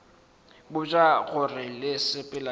botša gore le sepela le